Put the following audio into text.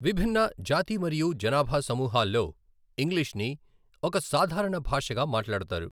విభిన్న జాతి మరియు జనాభా సమూహాల్లో ఇంగ్లీష్ని ఒక సాధారణ భాషగా మాట్లాడతారు.